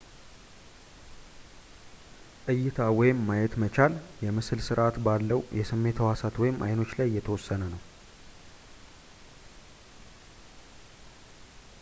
እይታ ወይም ማየት መቻል የምስል ስርዐት ባለው የስሜት ሕዋሳት ወይም አይኖች ላይ የተወሰነ ነው